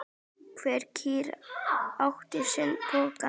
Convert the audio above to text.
Hver kýr átti sinn poka.